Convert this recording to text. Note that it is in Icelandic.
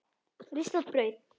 Ristað brauð.